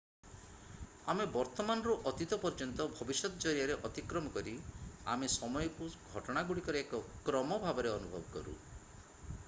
ଆମେ ବର୍ତ୍ତମାନ ରୁ ଅତୀତ ପର୍ଯ୍ୟନ୍ତ ଭବିଷ୍ୟତ ଜରିଆରେ ଅତିକ୍ରମ କରି ଆମେ ସମୟକୁ ଘଟଣାଗୁଡିକର ଏକ କ୍ରମ ଭାବରେ ଅନୁଭବ କରୁ